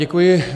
Děkuji.